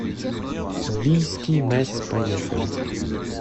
бийские мэс поехали